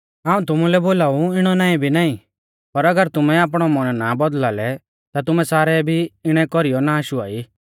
हाऊं तुमुलै बोलाऊ इणौ नाईं भी नाईं पर अगर तुमै आपणौ मन ना बौदल़ा लै ता तुमै सारै भी इणै कौरीऐ नाष हुआई